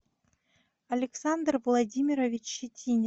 александр владимирович щетинин